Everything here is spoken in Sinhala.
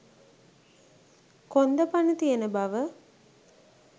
කොන්ද පණ තියෙන බව